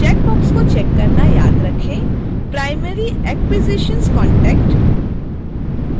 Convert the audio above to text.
checkbox को check करना याद रखें: primary acquisitions contact